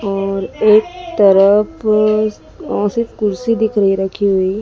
और एक तरफ अ सिर्फ कुर्सी दिख रही है रखी हुई।